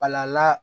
Pal'ala